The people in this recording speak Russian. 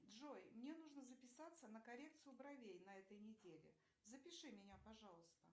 джой мне нужно записаться на коррекцию бровей на этой неделе запиши меня пожалуйста